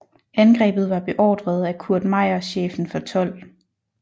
Angrebet var beordret af Kurt Meyer chefen for 12